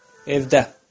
Evdə.